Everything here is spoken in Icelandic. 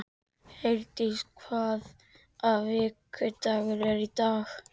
Herdís, hvaða vikudagur er í dag?